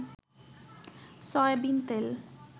soybean তেল